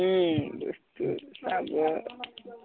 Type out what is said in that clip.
ওম